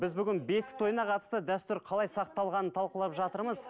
біз бүгін бесік тойына қатысты дәстүр қалай сақталғанын талқылап жатырмыз